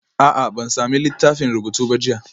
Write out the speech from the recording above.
A'a, ban sami littafin rubutu ba jiya